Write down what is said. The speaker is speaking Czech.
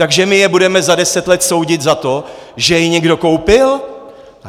Takže my je budeme za deset let soudit za to, že je někdo koupil?